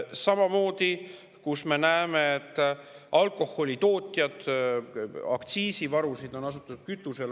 Samamoodi me näeme alkoholitootjate puhul, et aktsiisi on asutud varuma.